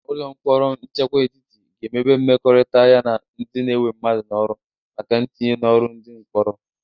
Ụlọ mkpọrọ nchekwa etiti ga-emebe mmekọrịta ya na ndị na-ewe mmadụ n'ọrụ maka ntinye n'ọrụ ndị mkpọrọ.